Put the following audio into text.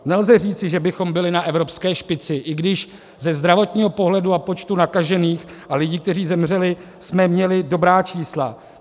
Nelze říci, že bychom byli na evropské špici, i když ze zdravotního pohledu a počtu nakažených a lidí, kteří zemřeli, jsme měli dobrá čísla.